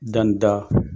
Danni da